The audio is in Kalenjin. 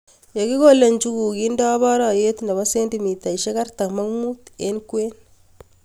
Ye kikole njuguk kendeni barayot nepo cendimita artam ak mut eng kwen